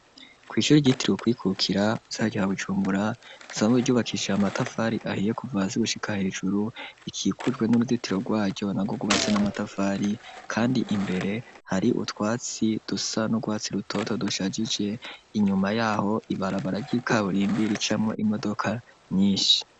Kw'ishure ryitiriwe ukwikukira mu gisagara ca bujumbura risanzwe ryubakishije amatafari ahiye Kuva hasi gushika hejuru rikikujwe n'uruzitiro rwaryo nagwo gwubatswe na matafari kandi imbere hari utwatsi dusa n'urwatsi rutoto dushajije inyuma yaho ibarabara ry'ikaburimbi ricamwo imodoka nyinshi.